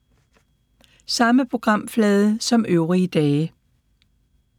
Samme programflade som øvrige dage